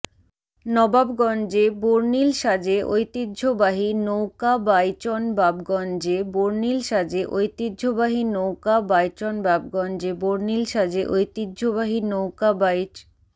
নবাবগঞ্জে বর্ণিল সাজে ঐতিহ্যবাহী নৌকাবাইচনবাবগঞ্জে বর্ণিল সাজে ঐতিহ্যবাহী নৌকাবাইচনবাবগঞ্জে বর্ণিল সাজে ঐতিহ্যবাহী নৌকাবাইচ